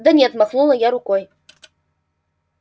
да нет махнула рукой я